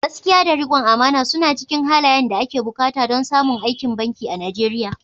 Gaskiya da rikon amana suna cikin halayen da ake buƙata don samun aikin banki a Najeriya."